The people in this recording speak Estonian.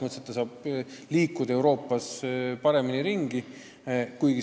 Nad saavad Euroopas kergemini ringi liikuda.